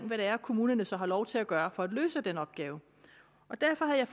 hvad det er kommunerne så har lov til at gøre for at løse den opgave derfor havde